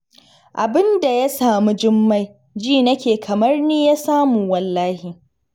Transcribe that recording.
Abin da ya samu Jummai, ji nake kamar ni ya samu wallahi